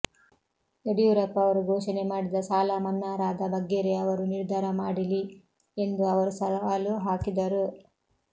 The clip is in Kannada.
ಯಡಿಯೂರಪ್ಪ ಅವರು ಘೋಷಣೆ ಮಾಡಿದ ಸಾಲಮನ್ನಾಾದ ಬಗ್ಗೆೆ ಅವರು ನಿರ್ಧಾರ ಮಾಡಿಲಿ ಎಂದು ಅವರು ಸವಾಲು ಹಾಕಿದರು